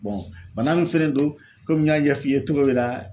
bana min fɛnɛ don kɔmi n y'a ɲɛf'i ye cogo min na